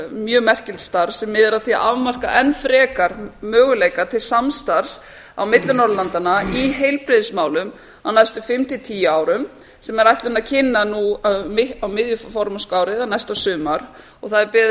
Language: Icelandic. mjög merkilegt starf sem miðar að því að marka enn frekar möguleika til samstarfs á milli norðurlandanna í heilbrigðismálum á næstu fimm til tíu árum sem er ætlunin að kynna nú á miðju formennskuári eða næsta sumar og beðið er